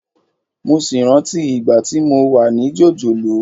Mo sì rántí ìgbà tí mo wà ní jòjòló